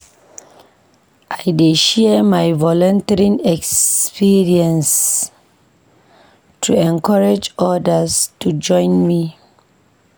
I dey share my volunteering experiences to encourage odas to join me.